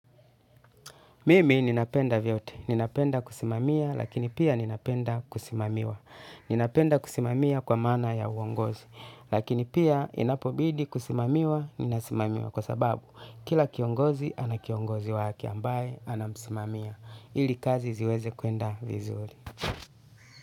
Mimi ninapenda vyote, ninapenda kusimamia, lakini pia ninapenda kusimamiwa. Ninapenda kusimamia kwa maana ya uongozi lakini pia inapobidi kusimamiwa ninasimamiwa kwa sababu kila kiongozi anakiongozi wake ambaye anamsimamia. Ili kazi ziweze kuenda vizuri.